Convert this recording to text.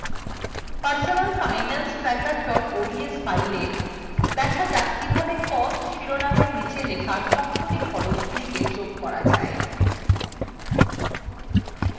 আমাদের personal finance tracker ods fileএ দেখা যাক কিভাবে cost শিরোনামের নীচে লেখা সবকটি খরচ্ গুলিকে যোগ করা যায়